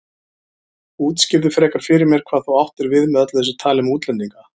Útskýrðu frekar fyrir mér hvað þú áttir við með öllu þessu tali um útlendinga.